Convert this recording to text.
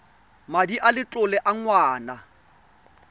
madi a letlole a ngwana